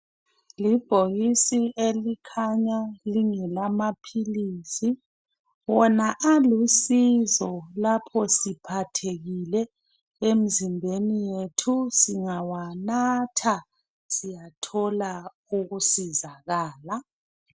Libhokisi elikhanya kungelamapills wona alusizo lapha siphathekile emzimbeni wethu singawanatha siyathola ukusizakala